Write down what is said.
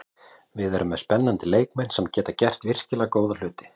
Við erum með spennandi leikmenn sem geta gert virkilega góða hluti.